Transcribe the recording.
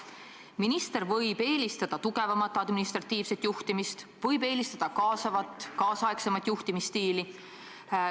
Minister võib eelistada tugevamat administratiivset juhtimist, võib eelistada tänapäevast kaasavat juhtimisstiili.